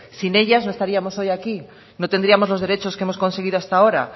sin ellas no estaríamos hoy aquí no tendríamos los derechos que hemos conseguido hasta ahora